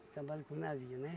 Acabaram com o navio, né?